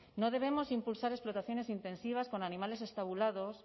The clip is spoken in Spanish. no debemos impulsar explotaciones intensivas con animales estabulados